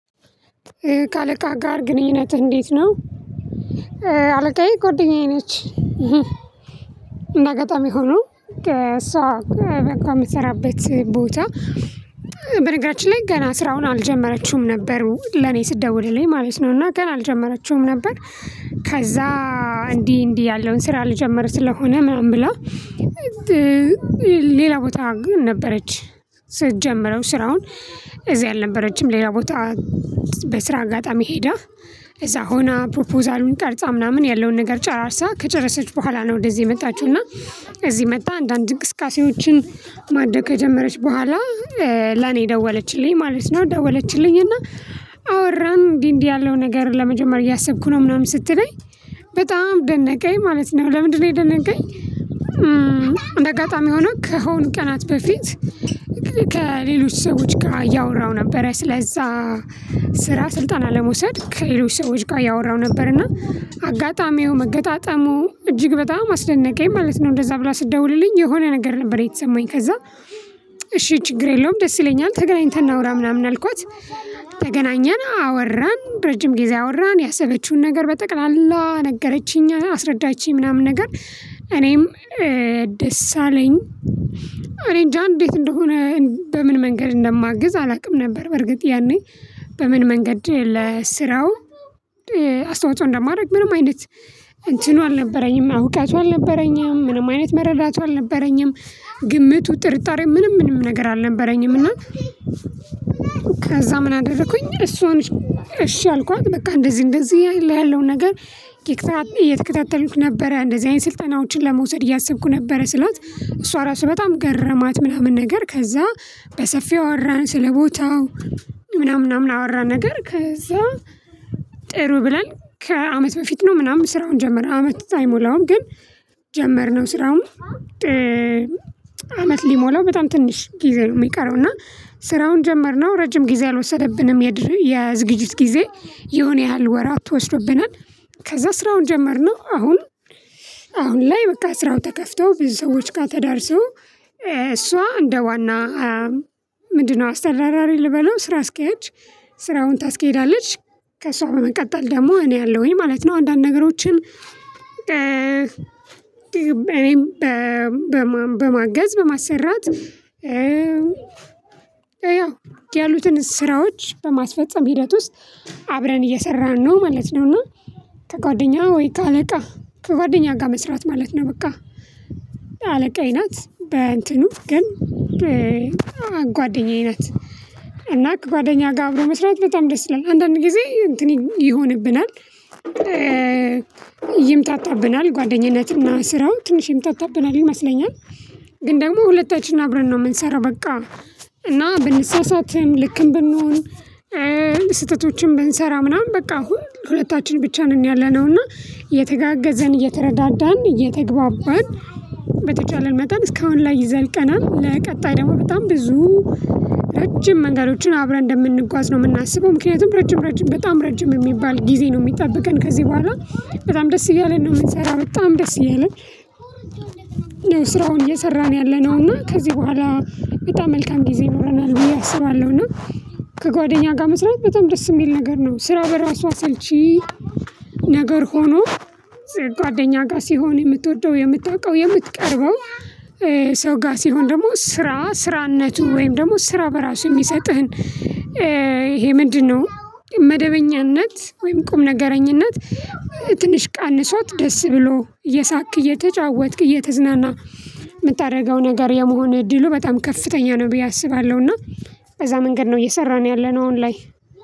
ከአለቃህ ጋር ግንኙነትህ እንዴት ነው? አለቃዬ ጎደኛዬ ነች። እንደ አጋጣሚ ሆኖ ከእሷ ከ ተቀጥራ የምትሰራበት ቦታ። በነገራችን ላይ ገና ስራውን አልጀመረችውም ነበር ለኔ ስትደውልልኝ ማለት ነው እና ገና አልጀመረችውም ነበር። ከዛ እንዲህ እንዲህ ያለውን ስራ ልጀምር ስለሆነ ምናምን ብላ። ሌላ ቦታ ግን ነበረች። ስትጀምረው ስራውን እዚህ አልነበረችም ሌላ ቦታ። በስራ አጋጣሚ ሄዳ እዛ ሆና ፕሮፖዛሉን ቀርጻ ምናምን ያለውን ነገር ጨራርሳ ከጨረሰች በኋላ ነው ወደዚህ የመጣችው። እና እዚህ መጥታ አንዳንድ እንቅስቃሴዎችን ማድረግ ከጀመረች በኋላ ለኔ ደወለችልኝ ማለት ነው። ደወለችልኝ እና አወራን እንዲህ እንዲህ ያለው ነገር ለመጀመር እያሰብኩ ነው ምናምን ስትለኝ በጣም ደነቀኝ ማለት ነው። ለምንድነው የደነቀኝ እንደ አጋጣሚ ሆኖ ከሆኑ ቀናት በፊት። ከሌሎች ሰዎች ጋር እያወራው ነበረ ስለዛ ስራ ስልጠና ለመውሰድ ከሌሎች ሰዎች ጋር እያወራው ነበርና አጋጣሚው መገጣጠሙ እጅግ በጣም አስደነቀኝ። ማለት ነው እንደዛ ብላ ስትደውልልኝ የሆነ ነገር ነበር የተሰማኝ። ከዛ እሺ ችግር የለውም ደስ ይለኛል ተገናኝተን እናውራ ምናምን አልኳት። ተገናኘን አወራን ረጅም ጊዜ አወራን ያሰበችውን ነገር በጠቅላላ ነገረችኝ አስረዳችኝ ምናምን ነገር። እኔም ደስ አለኝ። እኔ እንጃ እንዴት እንደሆነ በምን መንገድ እንደማግዝ አላውቅም ነበር። በርግጥ ያኔ በምን መንገድ ለስራው አስተዋጽኦ እንደማደርግ ምንም አይነት እንትኑ አልነበረኝም እውቀቱ አልነበረኝም ምንም አይነት መረዳቱ አልነበረኝም። ግምቱ ጥርጣሬ ምንም ምንም ነገር አልነበረኝም። እና ከዛ ምን አደረኩኝ እሷን እሺ አልኳት በቃ እንደዚህ እንደዚህ ያለውን ነገር። እየተከታተሉክ ነበረ እንደዚህ አይነት ስልጠናዎችን ለመውሰድ እያሰብኩ ነበረ ስላት እሷ ራሱ በጣም ገረማት ምናምን። ነገር ከዛ በሰፊው አወራን ስለቦታው ምናምን ምናምን አወራን ነገር። ከዛ ጥሩ ብለን ከአመት በፊት ነው ምናምን ስራውን ጀመረ። አመት አይሞላውም ግን። ጀመርነው ስራውን አመት ሊሞላው በጣም ትንሽ ጊዜ ነው። የሚቀረው እና ስራውን ጀመርነው ረጅም ጊዜ አልወሰደብንም። የዝግጅት ጊዜ የሆነ ያህል ወራት ወስዶብናል። ከዛ ስራውን ጀመርነው አሁን አሁን ላይ በቃ ስራው ተከፍቶ ብዙ ሰዎች ጋር ተዳርሶ። እሷ እንደ ዋና ምንድነው? አስተዳዳሪ ልበለው ስራ አስኪያጅ ስራውን ታስኬዳለች። ከሷ በመቀጠል ደግሞ እኔ አለውኝ ማለት ነው። አንዳንድ ነገሮችን እኔም በ በማገዝ በማሰራት ያው ያሉትን ስራዎች በማስፈጸም ሂደት ውስጥ አብረን እየሰራን ነው ማለት ነው። እና ከጓደኛ ወይ ከአለቃ ከጓደኛ ጋር መስራት ማለት ነው በቃ። አለቃዬ ናት በእንትኑ ግን። ጓደኛዬ ናት። እና ከጓደኛ ጋር አብሮ መስራት በጣም ደስ ይላል አንዳንድ ጊዜ እንትን ይሆንብናል። ይምታታብናል ጓደኝነትና ስራው ትንሽ ይምታታብናል ይመስለኛል። ግን ደግሞ ሁለታችን አብረን ነው የምንሰራው በቃ። እና ብንሳሳትም ልክም ብንሆን ስህተቶችን ብንሰራ ምናምን በቃ አሁን ሁለታችን ብቻ ነን ያለነው። እና እየተጋገዝን እየተረዳዳን እየተግባባን በተቻለን መጠን እስካሁን ላይ ዘልቀናል። ለቀጣይ ደግሞ በጣም ብዙ ረጅም መንገዶችን አብረን እንደምንጓዝ ነው የምናስበው ምክንያቱም ረጅም ረጅም በጣም ረጅም የሚባል ጊዜ ነው የሚጠብቀን ከዚህ በኋላ። በጣም ደስ እያለን ነው የምንሰራው በጣም ደስ እያለን። ነው ስራውን እየሰራን ያለነው እና ከዚህ በኋላ በጣም መልካም ጊዜ ኖረናል ብዬ አስባለሁ። እና ከጓደኛ ጋር መስራት በጣም ደስ የሚል ነገር ነው ስራው በራሱ አለልቺ። ነገር ሆኖ። ጓደኛ ጋር ሲሆን የምትወደው የምታውቀው የምትቀርበው። ሰው ጋር ሲሆን ደግሞ ስራ ስራነቱ ወይም ደግሞ ስራ በራሱ የሚሰጥህን ይሄ ምንድነው? መደበኛነት ወይም ቁምነገረኝነት። ትንሽ ቀንሶት ደስ ብሎህ እየሳቅክ እየተጫወትክ እየተዝናና የምታደርገው ነገር የመሆን እድሉ በጣም ከፍተኛ ነው። ብዬ አስባለሁ። እና በዛ መንገድ ነው እየሰራን ያለነው አሁን ላይ።